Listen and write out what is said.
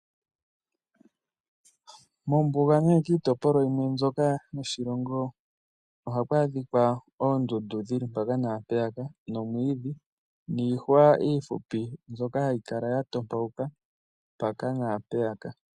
Mombuga nenge kiitopolwa yimwe mbyoka moshilongo ohaku adhika oondundu dhile mpaka naampeyaka nomwiidhi niihwa iifupi mbyoka hayi kala ya topauka mpaka naampeyaka.